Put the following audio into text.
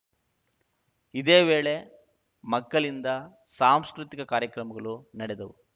ಇದೇ ವೇಳೆ ಮಕ್ಕಳಿಂದ ಸಾಂಸ್ಕೃತಿಕ ಕಾರ್ಯಕ್ರಮಗಳು ನಡೆದವು